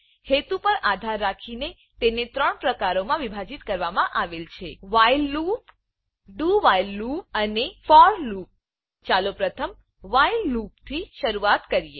હેતુ પર આધાર રાખીને તેને ત્રણ પ્રકારોમાં વિભાજીત કરવામાં આવેલ છે while loop while loop dowhile loop અને do while loop for loop for loop ચાલો પ્રથમ વ્હાઇલ લૂપ વાઇલ લુપથી શરૂઆત કરીએ